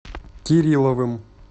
кирилловым